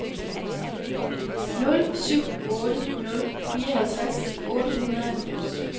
nul syv otte nul fireoghalvtreds otte hundrede og halvfems